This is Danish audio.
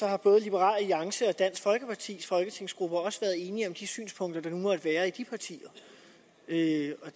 har både liberal alliance og dansk folkepartis folketingsgrupper også været enige om de synspunkter der nu måtte være i de partier det